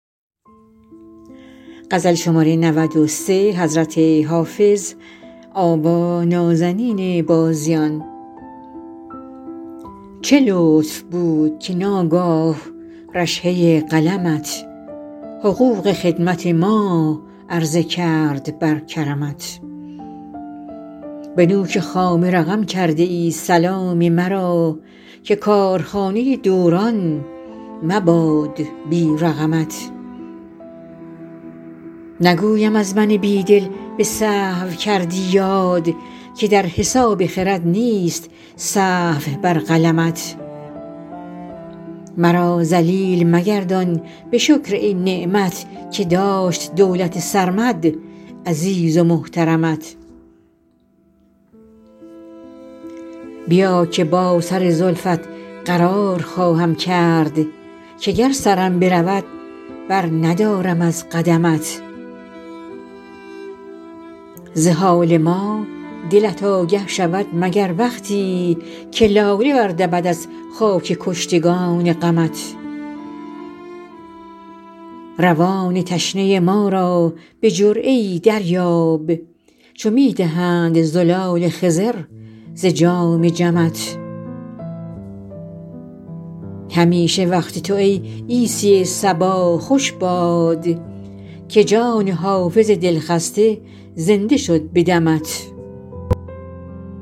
چه لطف بود که ناگاه رشحه قلمت حقوق خدمت ما عرضه کرد بر کرمت به نوک خامه رقم کرده ای سلام مرا که کارخانه دوران مباد بی رقمت نگویم از من بی دل به سهو کردی یاد که در حساب خرد نیست سهو بر قلمت مرا ذلیل مگردان به شکر این نعمت که داشت دولت سرمد عزیز و محترمت بیا که با سر زلفت قرار خواهم کرد که گر سرم برود برندارم از قدمت ز حال ما دلت آگه شود مگر وقتی که لاله بردمد از خاک کشتگان غمت روان تشنه ما را به جرعه ای دریاب چو می دهند زلال خضر ز جام جمت همیشه وقت تو ای عیسی صبا خوش باد که جان حافظ دلخسته زنده شد به دمت